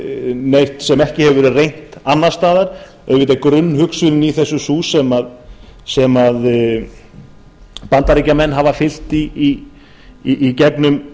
neitt sem ekki hefur verið reynt annars staðar auðvitað er grunnhugsunin í þessu sú sem bandaríkjamenn hafa fylgt í